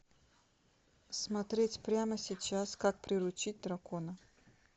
смотреть прямо сейчас как приручить дракона